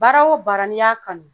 Baara o baara n'i y'a kanu